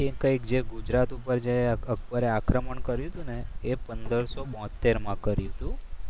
એ કંઈક જે ગુજરાત ઉપર જે અકબરે આક્રમણ કર્યું હતું ને એ પંદરસો બોત્તેર માં કર્યું હતું.